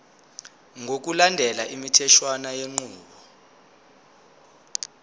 ngokulandela imitheshwana yenqubo